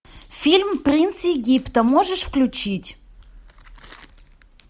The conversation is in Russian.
фильм принц египта можешь включить